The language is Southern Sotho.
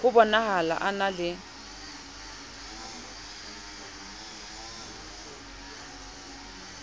bo nahala a na le